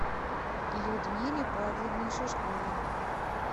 людмиле павловне шишковой